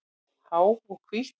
Há og hvít.